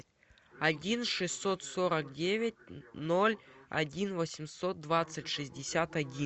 один шестьсот сорок девять ноль один восемьсот двадцать шестьдесят один